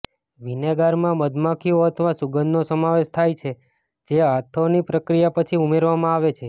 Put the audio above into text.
વિનેગારમાં મધમાખીઓ અથવા સુગંધનો સમાવેશ થાય છે જે આથોની પ્રક્રિયા પછી ઉમેરવામાં આવે છે